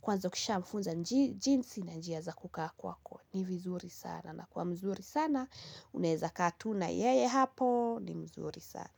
Kwanza kisha mfunza jinsi na njia za kukaa kwako. Ni vizuri sana. Na kuwamzuri sana. Unaeza kaa tuna yeye hapo. Ni mzuri sana.